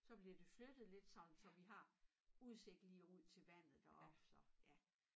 Så blev det flyttet lidt sådan så vi har udsigt lige ud til vandet deroppe så ja